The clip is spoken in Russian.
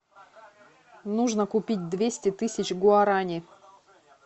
нужно купить двести тысяч гуарани